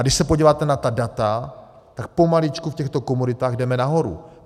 A když se podíváte na ta data, tak pomaličku v těchto komoditách jdeme nahoru.